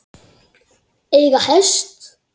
Eiga hest.